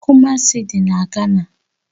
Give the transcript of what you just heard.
Kumasi dị na Gana